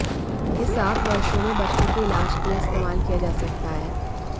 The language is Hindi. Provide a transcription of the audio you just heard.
यह सात वर्षों में बच्चों के इलाज के लिए इस्तेमाल किया जा सकता है